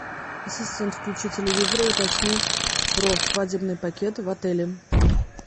ассистент включи телевизор и уточни про свадебный пакет в отеле